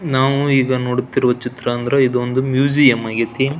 ನಾವು ಈಗ ನೋಡುತ್ತಿರುವ ಚಿತ್ರ ಅಂದರೆ ಇದೊಂದು ಮ್ಯೂಸಿಯಂ ಆಗೈತಿ.